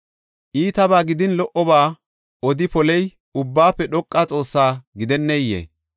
Iitaba gidin lo77oba odi poley Ubbaafe Dhoqa Xoossa gidenneyee?